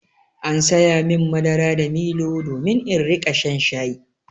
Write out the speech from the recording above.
An saya min madara da milo domin in riƙa shan shayi.